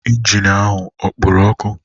Injin ahụ ọ kporo ọkụ?